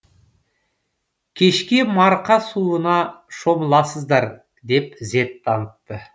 кешке марқа суына шомыласыздар деп ізет танытты